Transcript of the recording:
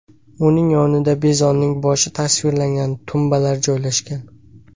Uning yonida bizonning boshi tasvirlangan tumbalar joylashgan.